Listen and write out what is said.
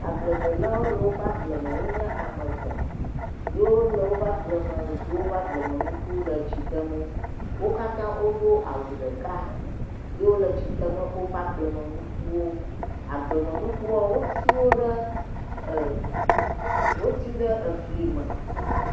Agbledelawo le woƒe agbleme. Wonye ame etɔ̃ ye wole woƒe agbleme do woƒe agblemenuku le tsi dem wo. Wo katã wodo awu ɖeka ye wole tsi deme woƒe agblemenukuwo. Agblemenukuwoa, wotiwo ɖe ɛɛ woti ɖe eflime.